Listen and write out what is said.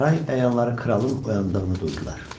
Saray əyanları kralın oyandığını duydular.